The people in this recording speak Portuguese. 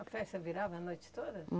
A festa virava a noite toda?